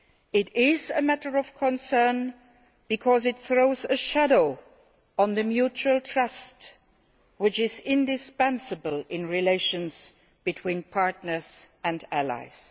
It is a matter of concern, because it throws a shadow on the mutual trust which is indispensable in relations between partners and allies.